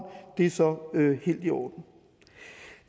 det er så helt i orden